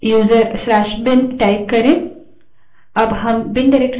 अब हम bin directory में हैं